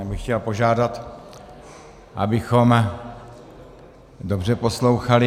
Já bych chtěl požádat, abychom dobře poslouchali.